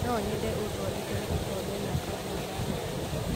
no nyende ũthodekere gĩkombe gĩa kahũa ndagũthaitha